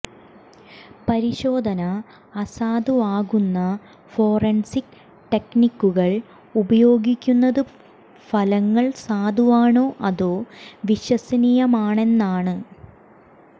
പരിശോധന അസാധുവാകുന്ന ഫോറൻസിക് ടെക്നിക്കുകൾ ഉപയോഗിക്കുന്നത് ഫലങ്ങൾ സാധുവാണോ അതോ വിശ്വസനീയമാണെന്നാണ്